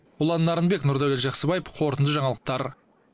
ұлан нарынбек нұрдәулет жақсыбаев қорытынды жаңалықтар